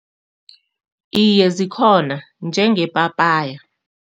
Iye, zikhona, njenge-papaya.